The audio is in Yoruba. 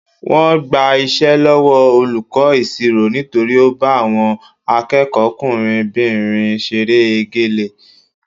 Wọ́n gba iṣẹ́ lọ́wọ́ olùkọ́ ìṣirò nítorí ó bá àwọn akẹ́kọ̀ọ́kùnrinbìnrin ṣeré egélé